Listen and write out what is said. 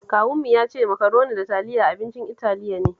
Kawunmu ya ce Makaroni da Taliya abincin Italiya ne